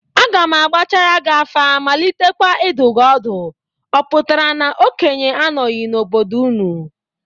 Aga m agbachaara gị afa malitekwa idu gi ọdụ, ọ pụtara na okenye anọghị n'obodo unu?